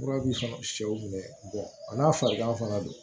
Kura b'i sɔ sɛw minɛ a n'a farigan fana don